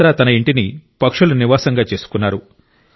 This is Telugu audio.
బత్రా తన ఇంటిని పక్షుల నివాసంగా చేసుకున్నారు